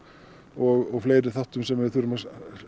og fleiri þáttum sem við þurfum að